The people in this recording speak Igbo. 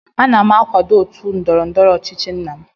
Ana m akwado otu ndọrọ ndọrọ ọchịchị nna m